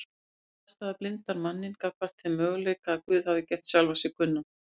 Slík afstaða blindar manninn gagnvart þeim möguleika að Guð hafi gert sjálfan sig kunnan